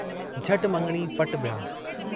झट मङणी पटु ब्याहु।